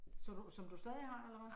Så du, som du stadig har eller hvad?